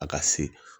A ka se